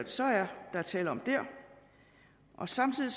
så er tale om der samtidig